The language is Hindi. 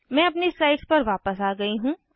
मैं अपनी स्लाइड्स वापस आ गयी हूँ